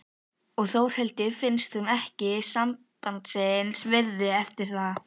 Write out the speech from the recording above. Og Þórhildi finnst hún ekki sambandsins virði eftir það.